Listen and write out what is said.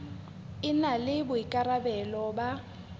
e na le boikarabelo ba